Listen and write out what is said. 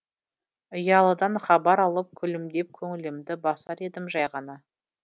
ұялыдан хабар алып күлімдеп көңілімді басар едім жай ғана